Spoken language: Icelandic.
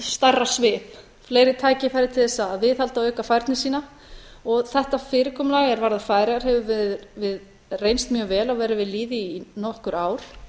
stærra svið fleiri tækifæri til þess að viðhalda og auka færni sína þetta fyrirkomulag er varðar færeyjar hefur reynst mjög vel og verið við lýði í nokkur ár